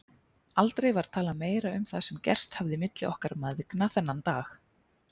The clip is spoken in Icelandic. Aldrei var talað meira um það sem gerst hafði milli okkar mæðgna þennan dag.